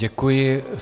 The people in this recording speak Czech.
Děkuji.